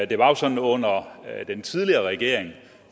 det var jo sådan under den tidligere regering